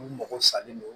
Olu mago salen don